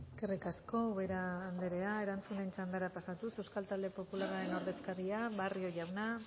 eskerrik asko ubera anderea erantzunen txandara pasatuz euskal talde popularraren ordezkaria barrio jauna